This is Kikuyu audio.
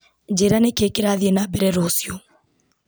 njĩra nĩ kĩĩ kĩrathiĩ na mbere rũciũ